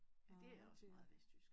Ja det er også meget vestjysk